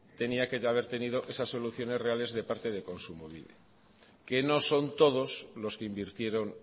tenía que haber tenido esas soluciones reales de parte de kontsumobide que no son todos los que invirtieron